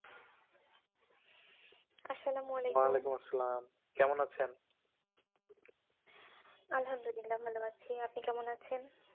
আস-সালামু আলাইকুম। ওয়ালাইকুমুস-সালাম । কেমন আছেন? আলহামদুল ইল্লা ভালো আছি। আপনি কেমন আছেন?